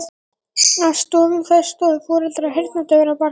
Að stofnun þess stóðu foreldrar heyrnardaufra barna.